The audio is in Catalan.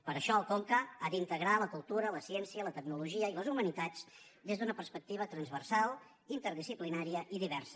per això el conca ha d’integrar la cultura la ciència la tecnologia i les humanitats des d’una perspectiva transversal interdisciplinària i diversa